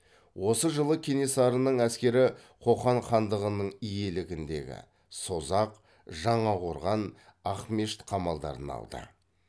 осы жылы кенесарының әскері қоқан хандығының иелігіндегі созақ жаңақорған ақмешіт қамалдарын алды